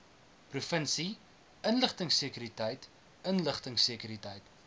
provinsie inligtingsekuriteit inligtingsekuriteit